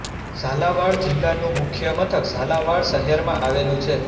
ઝાલાવાડ જિલ્લાનું મુખ્ય મથક ઝાલાવાડ શહેરમાં આવેલું છે